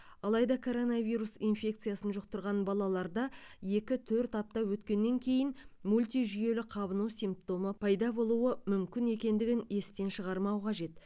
алайда коронавирус инфекциясын жұқтырған балалаларда екі төрт апта өткеннен кейін мультижүйелі қабыну симптомы пайда болуы мүмкін екендігін естен шығармау қажет